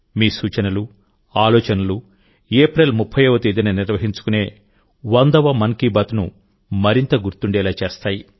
మీ సూచనలు ఆలోచనలు ఏప్రిల్ 30వ తేదీన నిర్వహించుకునే వందవ మన్ కీ బాత్ను మరింత గుర్తుండేలా చేస్తాయి